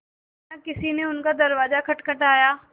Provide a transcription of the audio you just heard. अचानक किसी ने उनका दरवाज़ा खटखटाया